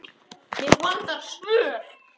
Mig vantar svör.